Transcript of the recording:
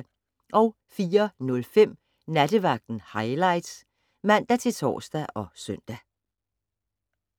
04:05: Nattevagten Highlights (man-tor og søn)